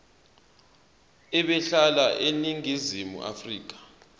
ebehlala eningizimu afrika